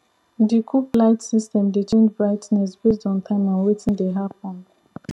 di coop light system dey change brightness based on time and wetin dey happen